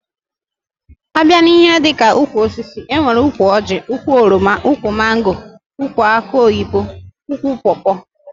A bịa n'ihe dika ụkwụ osisi enwere ụkwụ Orji, ụkwụ oroma, ụkwụ mangóró, ụkwụ akụ oyibo, ụkwụ pópó wdg.